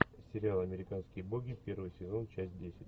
сериал американские боги первый сезон часть десять